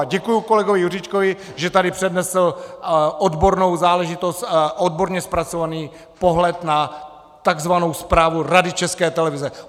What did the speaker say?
A děkuji kolegovi Juříčkovi, že tady přednesl odbornou záležitost, odborně zpracovaný pohled na tzv. zprávu Rady České televize.